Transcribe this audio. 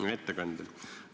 Hea ettekandja!